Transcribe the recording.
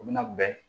U bɛna bɛn